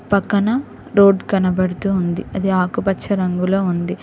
పక్కన రోడ్ కనబడుతూ ఉంది అది ఆకుపచ్చ రంగులో ఉంది.